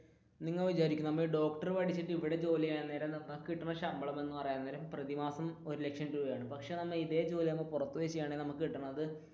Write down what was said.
നിങ്ങൾ വിചാരിക്ക് ഡോക്ടർ പഠിച്ചിട്ടു ഇവിടെ ജോലി ചെയ്യാൻ നേരം നമുക്ക് കിട്ടുന്ന ശമ്പളം എന്ന് പറയാൻ നേരം ഒരു മാസം ഒരു ലക്ഷം രൂപയാണ് പക്ഷെ നമ്മൾ ഇതേ ജോലി പുറത്തു പോയി ചെയ്യുക ആണെങ്കിൽ നമുക്ക് കിട്ടുന്നത്.